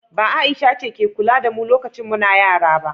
ba Aisha ce ke kula da mu lokacin muna yara ba?